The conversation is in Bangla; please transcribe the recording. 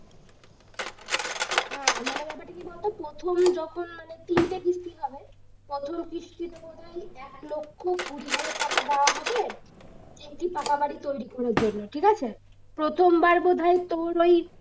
হ্যাঁ মানে ব্যাপারটা কি বলতো প্রথম যখন মানে তিনটে কিস্তি হবে প্রথম কিস্তি টা দাঁড়ায় এক লক্ষ কুড়ি হাজার টাকা দেওয়া হবে একটি পাকা বাড়ি তৈরী করার জন্য ঠিক আছে। প্রথম বার বোধয় তোর ওই